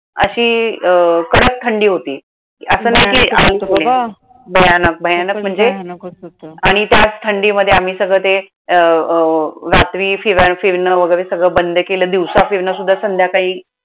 अशी अं कडक थंडी होती. भयानक भयानक भयानकच होतं. आणि त्यात थंडीमध्ये आम्ही सगळं ते अं अं रात्री फिरणं वगैरे सगळं बंद केलं. दिवसा फिरणं सुद्धा संध्याकाळी.